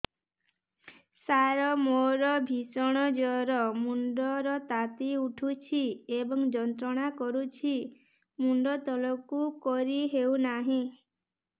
ସାର ମୋର ଭୀଷଣ ଜ୍ଵର ମୁଣ୍ଡ ର ତାତି ଉଠୁଛି ଏବଂ ଯନ୍ତ୍ରଣା କରୁଛି ମୁଣ୍ଡ ତଳକୁ କରି ହେଉନାହିଁ